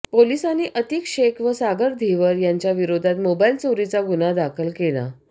पोलिसांनी अतिक शेख व सागर धिवर यांच्या विरोधात मोबाईल चोरीचा गुन्हा दाखल केला